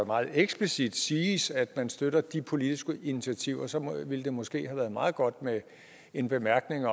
meget eksplicit siges at man støtter de politiske initiativer ville det måske have været meget godt med en bemærkning